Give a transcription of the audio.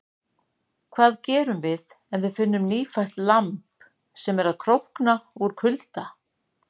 Hvað gerum við ef við finnum nýfætt lamb sem er að krókna úr kulda?